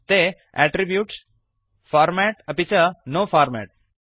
ते attributes format अपि च नो फॉर्मेट्